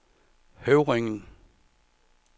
Høvringen